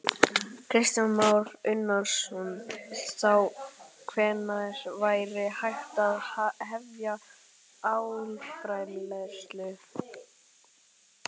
Kristján Már Unnarsson: Þá hvenær væri hægt að hefja álframleiðslu?